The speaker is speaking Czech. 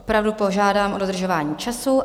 Opravdu požádám o dodržování času.